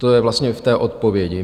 To je vlastně v té odpovědi.